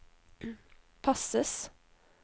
passes